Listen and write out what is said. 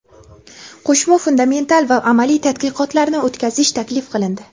qo‘shma fundamental va amaliy tadqiqotlarni o‘tkazish taklif qilindi.